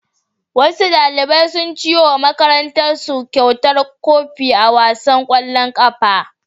Wasu ɗalibai sun ciwo wa makarantarsu kyautar kofi a wasan ƙwallon ƙafa.